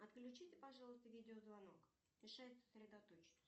отключите пожалуйста видеозвонок мешает сосредоточиться